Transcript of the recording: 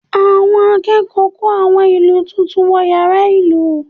Àwọn akẹ́kọ̀ọ́ kó àwọn ìlù tuntun wọ yàrá ìlù